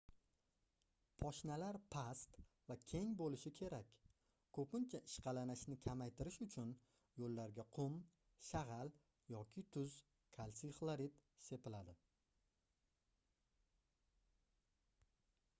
poshnalar past va keng bo'lishi kerak. ko'pincha ishqalanishni kamaytirish uchun yo'llarga qum shag'al yoki tuz kalsiy xlorid sepiladi